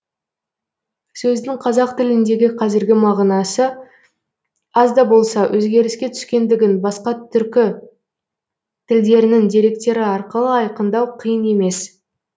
сөздің қазақ тіліндегі қазіргі мағынасы аз да болса өзгеріске түскендігін басқа түркі тілдерінің деректері арқылы айқындау қиын емес